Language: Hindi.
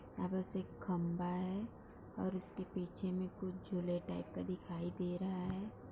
यहाँ पे एक खंभा है उसके पीछे में कुछ झूले टाइप दिखाई दे रहा है।